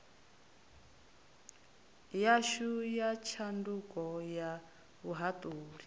yashu ya tshanduko ya vhuhaṱuli